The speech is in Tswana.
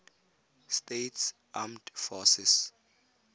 states armed forces